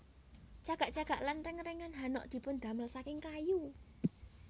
Cagak cagak lan rèngrèngan hanok dipundamel saking kayu